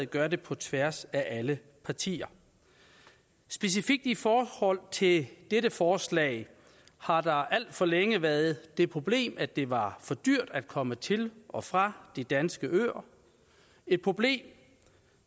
gør det på tværs af alle partier specifikt i forhold til dette forslag har der alt for længe været det problem at det var for dyrt at komme til og fra de danske øer et problem